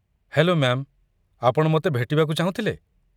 Hello ma'am, ଆପଣ ମୋତେ ଭେଟିବାକୁ ଚାହୁଁଥିଲେ?